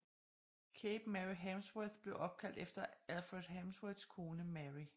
Cape Mary Harmsworth blev opkaldt efter Alfred Harmsworths kone Mary